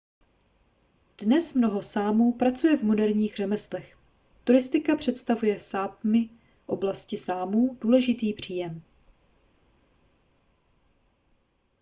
dnes mnoho sámů pracuje v moderních řemeslech turistika představuje v sápmi oblasti sámů důležitý příjem